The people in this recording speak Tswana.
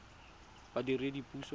badiredipuso